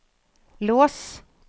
lås